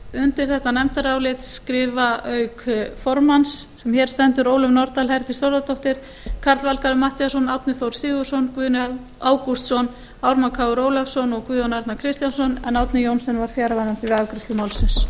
undir þetta nefndarálit rita auk formanns sem hér stendur ólöf nordal herdís þórðardóttir karl fimmti matthíasson árni þór sigurðsson guðni ágústsson ármann krónu ólafsson og guðjón arnar kristjánsson en árni johnsen var fjarverandi við afgreiðslu málsins